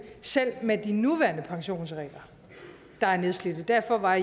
selv med de nuværende pensionsregler der er nedslidt og derfor var